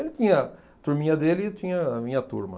Ele tinha a turminha dele e eu tinha a minha turma.